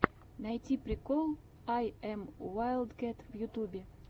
найти прикол ай эм уайлдкэт в ютубе